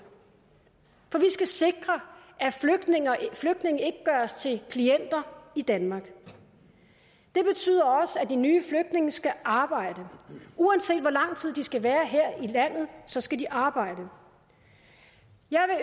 skal sikre at flygtninge ikke gøres til klienter i danmark det betyder også at de nye flygtninge skal arbejde uanset hvor lang tid de skal være her i landet så skal de arbejde jeg